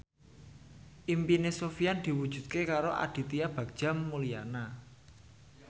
impine Sofyan diwujudke karo Aditya Bagja Mulyana